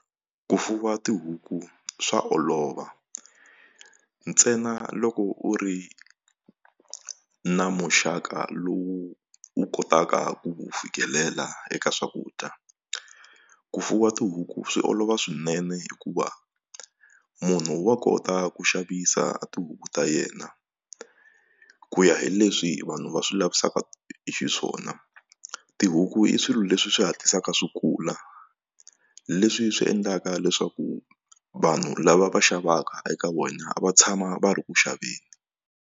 Ku fuwa tihuku swa olova ntsena loko u ri na muxaka lowu u kotaka ku fikelela eka swakudya ku fuwa tihuku swi olova swinene hikuva munhu wa kota ku xavisa tihuku ta yena ku ya hi leswi vanhu va swi lavisaka xiswona wona tihuku i swilo leswi swi hatlisaka swi kula leswi swi endlaka leswaku vanhu lava va xavaka eka wena va tshama va ri ku xaveni.